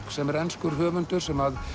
sem er enskur höfundur sem